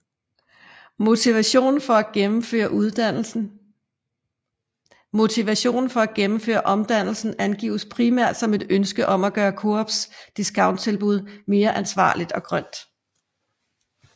Motivationen for at gennemføre omdannelsen angives primært som et ønske om at gøre Coops discounttilbud mere ansvarligt og grønt